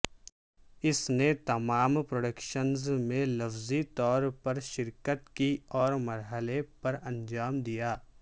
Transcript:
اس نے تمام پروڈکشنز میں لفظی طور پر شرکت کی اور مرحلے پر انجام دیا